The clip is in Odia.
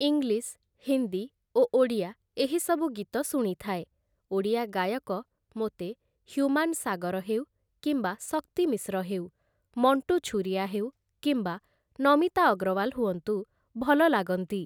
ଇଂଲିଶ୍, ହିନ୍ଦୀ ଓ ଓଡ଼ିଆ ଏହି ସବୁ ଗୀତ ଶୁଣିଥାଏ । ଓଡ଼ିଆ ଗାୟକ ମୋତେ ହ୍ୟୁମାନ ସାଗର ହେଉ କିମ୍ବା ଶକ୍ତି ମିଶ୍ର ହେଉ ମଣ୍ଟୁ ଛୁରିଆ ହେଉ କିମ୍ବା ନମିତା ଅଗ୍ରୱାଲ ହୁଅନ୍ତୁ ଭଲ ଲାଗନ୍ତି ।